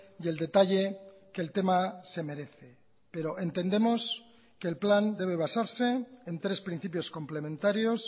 y el detalle que el tema se merece pero entendemos que el plan debe basarse en tres principios complementarios